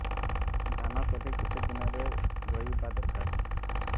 ଧାନ ତଳି କେତେ ଦିନରେ ରୋଈବା ଦରକାର